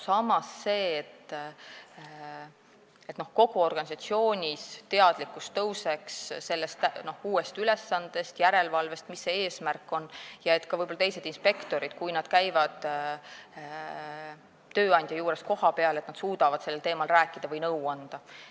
Samas on eesmärk, et kogu organisatsioonis paraneks teadlikkus sellest uuest ülesandest, järelevalvest, nii et võib-olla ka teised inspektorid, kui nad käivad tööandja juures kohapeal, suudaksid sellel teemal rääkida või nõu anda.